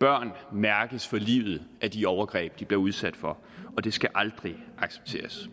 børn mærkes for livet af de overgreb de bliver udsat for og det skal aldrig accepteres